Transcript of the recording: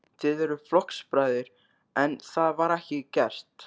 Þið eruð flokksbræður, en það var ekki gert?